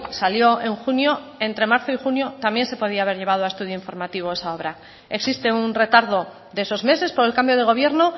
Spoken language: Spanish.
salió en junio entre marzo y junio también se podría haber llevado a estudio informativo esa obra existe un retardo de esos meses por el cambio de gobierno